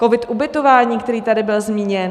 COVID - Ubytování, který tady byl zmíněn.